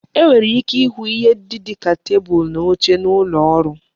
E nwere ike ịhụ ihe ndị dịka tebulu na oche n'ụlọ ọrụ